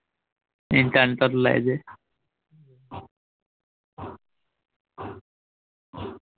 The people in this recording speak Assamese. ইণ্টাৰ্নেটত ওলাই যে